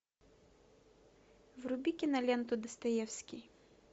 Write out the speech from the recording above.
вруби киноленту достоевский